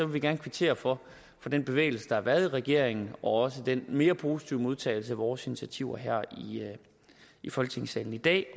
vi gerne kvittere for den bevægelse der har været i regeringen og også den mere positive modtagelse af vores initiativer her i folketingssalen i dag